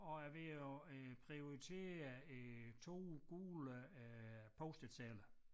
Og er ved at øh prioritere øh 2 gule øh post-it sedler